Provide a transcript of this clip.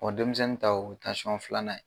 denmisɛnnin ta o ye tansiyɔn filanan ye.